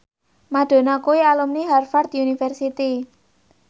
Madonna kuwi alumni Harvard university